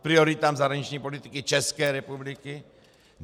K prioritám zahraniční politiky České republiky?